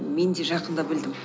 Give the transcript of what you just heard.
мен де жақында білдім